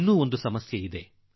ಮತ್ತೊಂದು ಕಷ್ಟ ಬಂದಿದೆ